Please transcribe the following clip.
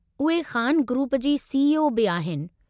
उहे ख़ान ग्रुप जी सीईओ बि आहिनि।